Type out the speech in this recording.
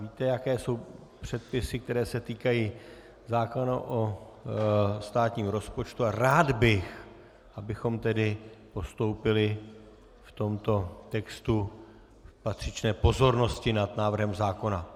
Víte, jaké jsou předpisy, které se týkají zákona o státním rozpočtu, a rád bych, abychom tedy postoupili v tomto textu v patřičné pozornosti nad návrhem zákona.